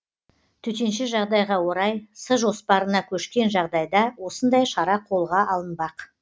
төтенше жағдайға орай с жоспарына көшкен жағдайда осындай шара қолға алынбақ